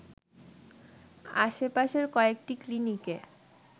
আশপাশের কয়েকটি ক্লিনিকে